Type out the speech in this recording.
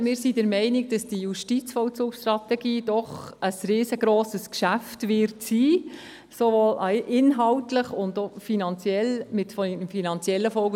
Wir sind der Meinung, die Justizvollzugsstrategie werde doch ein riesengrosses Geschäft sein, sowohl inhaltlich als auch bezüglich der finanziellen Folgen.